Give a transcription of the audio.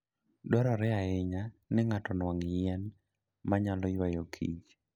Dwarore ahinya ni ng'ato onwang' yien ma nyalo ywayo kich.